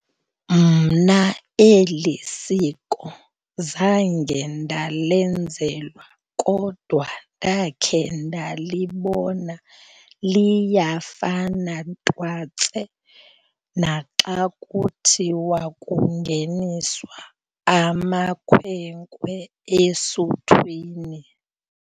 Mna eli siko zange ndalenzelwa kodwa ndakhe ndalibona. Liyafana twatse naxa kuthiwa kungeniswa amakhwenkwe esuthwini.